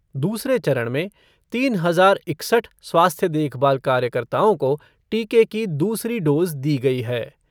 दूसरे चरण में तीन हजार इकसठ स्वास्थ्य देखभाल कार्यकर्ताओं को टीके की दूसरी डोज़ दी गई है।